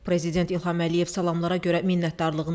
Prezident İlham Əliyev salamlara görə minnətdarlığını bildirdi.